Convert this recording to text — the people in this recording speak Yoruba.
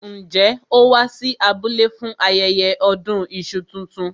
Njẹ́ ó wá sí abúlé fún ayẹyẹ ọdún iṣu tuntun?